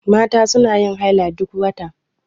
Mata suna yin haila duk wata.